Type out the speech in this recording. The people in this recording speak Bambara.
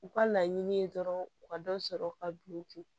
U ka laɲini ye dɔrɔn u ka dɔ sɔrɔ u ka du kun